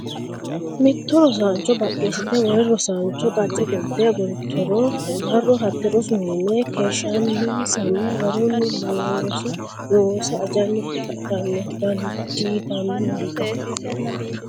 Mitto rosaancho baqqeessite wole rosaancho qacce qolte agurittoro a ro hatte rosu mine keeshshansanna garunni looso loosa ajjanni hadhara dandiitanno Mitto.